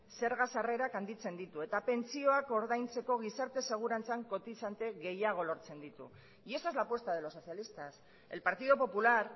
zerga sarrerak handitzen ditu eta pentsioak ordaintzeko gizarte segurantzan kotizante gehiago lortzen ditu y esa es la apuesta de los socialistas el partido popular